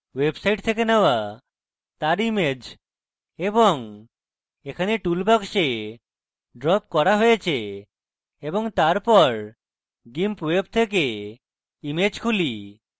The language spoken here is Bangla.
এটি সাধারণত website থেকে নেওয়া তার image এবং এখানে tool box ড্রপ করা হয়েছে এবং তারপর gimp web থেকে image খুলি